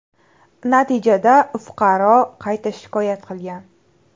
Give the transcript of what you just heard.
Natijada fuqaro qayta shikoyat qilgan.